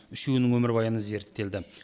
үшеуінің өмірбаяны зерттелді